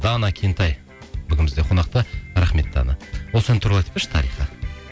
дана кентай бүгін бізде қонақта рахмет дана осы ән туралы айтып берші тарихы